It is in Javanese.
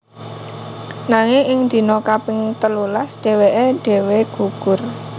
Nanging ing dina kaping telulas dhèwèké dhéwé gugur